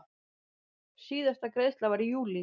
Síðasta greiðsla var í júlí.